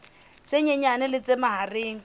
tse nyenyane le tse mahareng